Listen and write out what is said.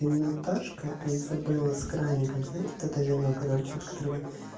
не наташка а изабелла с краником знаете это вино с краником от которого